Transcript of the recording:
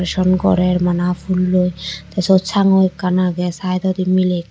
son gorer mana pulloi te siyot sangu ekkan age saidodi mile ekko.